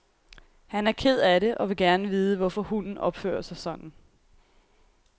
Han er ked af og vil gerne vide, hvorfor hunden opfører sig sådan.